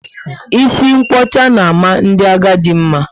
Isi nkwocha na ama ndị agadi mma